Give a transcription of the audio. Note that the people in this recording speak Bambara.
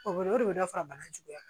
O bɛ o de bɛ dɔ fara bana juguya